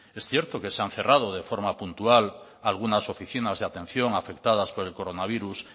es cierto que se han cerrado de forma puntual algunas oficinas de atención afectadas por el coronavirus